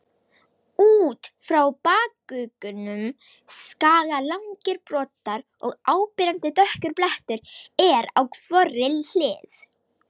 Út frá bakuggunum skaga langir broddar og áberandi dökkur blettur er á hvorri hlið.